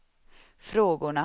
frågorna